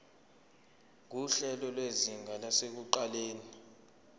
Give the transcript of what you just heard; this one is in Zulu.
nguhlelo lwezinga lasekuqaleni